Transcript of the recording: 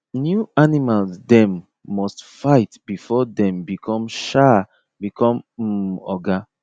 new animals them must fight before thm become um become um oga